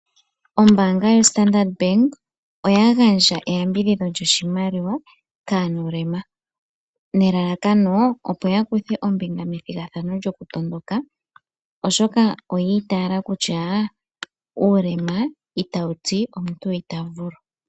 Ombaanga yoStandard bank oya gandja eyambidhidho lyoshimaliwa kaanuulema. Nelalakano opo ya kuthe ombinga methigathano lyokutondoka oshoka oya itaala kutya uulema itawu ti kutya omuntu ita vulu.